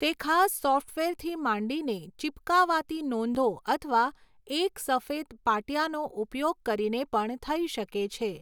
તે ખાસ સોફ્ટવેરથી માંડીને ચીપકાવાતી નોંધો અથવા એક સફેદ પાટિયાનો ઉપયોગ કરીને પણ થઈ શકે છે.